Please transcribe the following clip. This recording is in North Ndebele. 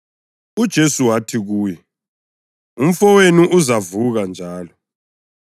UJesu wathi kuye, “Umfowenu uzavuka njalo.”